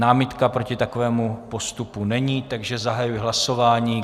Námitka proti takovému postupu není, takže zahajuji hlasování.